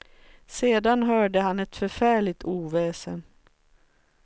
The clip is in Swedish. Sedan hörde han ett förfärligt oväsen.